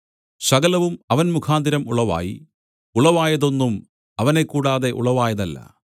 സകലവും അവൻ മുഖാന്തരം ഉളവായി ഉളവായതൊന്നും അവനെ കൂടാതെ ഉളവായതല്ല